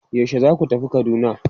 Yaushe zaku tafi Kaduna?